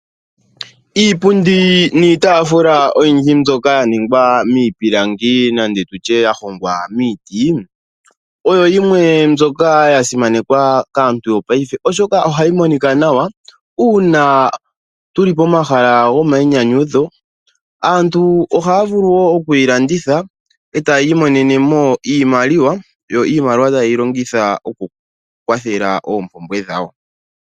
Iipundi niitaafula oyindji mbyoka ya ningwa miipilangi nande tutye yahongwa miiti, oyo yimwe mbyoka yasimanekwa kaantu yopaife oshoka ohayi monika nawa unaa tu li pomahala gomainyanyudho. Aantu ohaya vulu woo oku yi landitha eta ya imonene mo iimaliwa yo iimaliwa taye yi longitha oku kwathela oompumbwe dhawo.